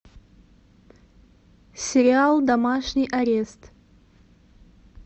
сериал домашний арест